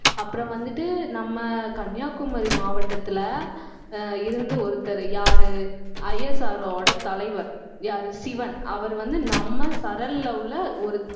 அப்புறம் வந்துட்டு நம்ம கன்னியாகுமரி மாவட்டத்துல ஆஹ் இருந்து ஒருத்தர் யாரு ISRO ஓட தலைவர் யாரு சிவன் அவர் வந்து, நம்ம சரல்ல உள்ள ஒரு